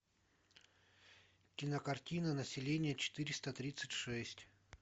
кинокартина население четыреста тридцать шесть